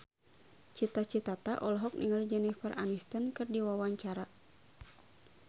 Cita Citata olohok ningali Jennifer Aniston keur diwawancara